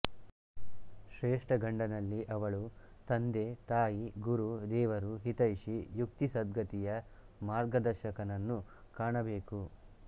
ಶ್ರೇಷ್ಠ ಗಂಡನಲ್ಲಿ ಅವಳು ತಂದೆತಾಯಿ ಗುರು ದೇವರು ಹಿತೈಷಿ ಮುಕ್ತಿ ಸದ್ಗತಿಯ ಮಾರ್ಗದ ರ್ಶಕನನ್ನು ಕಾಣಬೇಕು